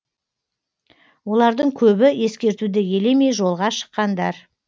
олардың көбі ескертуді елемей жолға шыққандар